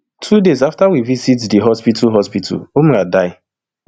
two days afta we visit di hospital hospital umrah die